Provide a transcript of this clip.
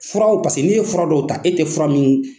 Furaw ni e ye fura dɔw ta e tɛ fura min